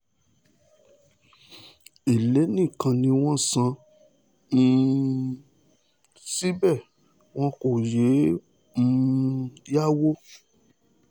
ẹlẹ́ nìkan ni wọ́n ń san um síbẹ̀ wọn kò yéé um yáwò